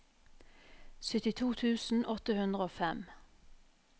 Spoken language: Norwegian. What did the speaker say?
syttito tusen åtte hundre og fem